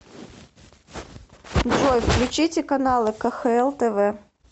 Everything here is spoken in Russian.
джой включите каналы кхл тв